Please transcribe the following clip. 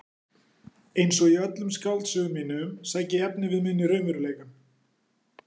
Einsog í öllum skáldsögum mínum sæki ég efnivið minn í raunveruleikann.